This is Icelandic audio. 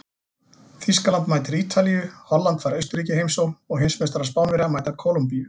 Þýskaland mætir Ítalíu, Holland fær Austurríki í heimsókn og heimsmeistarar Spánverjar mæta Kólumbíu.